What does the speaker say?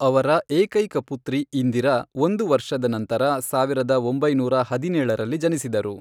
ಅವರ ಏಕೈಕ ಪುತ್ರಿ ಇಂದಿರಾ ಒಂದು ವರ್ಷದ ನಂತರ ಸಾವಿರದ ಒಂಬೈನೂರ ಹದಿನೇಳರಲ್ಲಿ ಜನಿಸಿದರು.